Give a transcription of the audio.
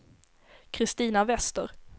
Christina Wester